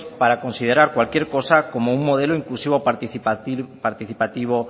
para considerar cualquier cosa como un modelo inclusivo participativo